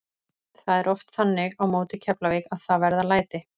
Það er oft þannig á móti Keflavík að það verða læti.